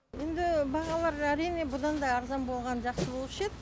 енді бағалары әрине бұдан да арзан болғаны жақсы болушы еді